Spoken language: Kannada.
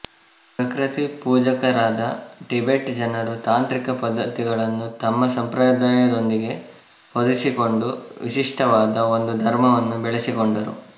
ಪ್ರಕೃತಿಪೂಜಕರಾದ ಟಿಬೆಟ್ ಜನರು ತಾಂತ್ರಿಕ ಪದ್ಧತಿಗಳನ್ನು ತಮ್ಮ ಸಂಪ್ರದಾಯದೊಂದಿಗೆ ಹೊಂದಿಸಿಕೊಂಡು ವಿಶಿಷ್ಟವಾದ ಒಂದು ಧರ್ಮವನ್ನು ಬೇಳೆಸಿಕೊಂಡರು